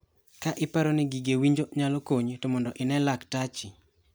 Ka iparo ni gige winjo nyalo konyi to mondo ine laktachi.